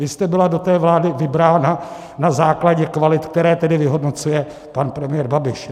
Vy jste byla do té vlády vybrána na základě kvalit, které tedy vyhodnocuje pan premiér Babiš.